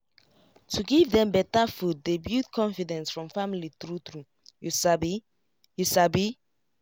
to give dem better food dey build confidence from family true true you sabi you sabi